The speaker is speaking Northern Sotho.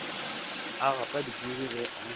a gapa dipudi ge a